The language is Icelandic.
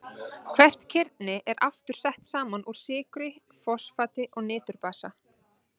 Hvert kirni er aftur sett saman úr sykru, fosfati og niturbasa.